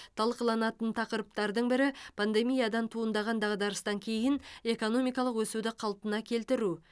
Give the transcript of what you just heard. талқыланатын тақырыптардың бірі пандемиядан туындаған дағдарыстан кейін экономикалық өсуді қалпына келтіру